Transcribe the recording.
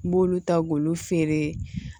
N b'olu ta k'olu feere